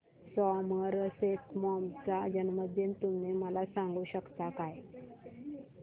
Somerset Maugham चा जन्मदिन तुम्ही मला सांगू शकता काय